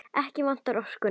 Ekki vantaði orkuna.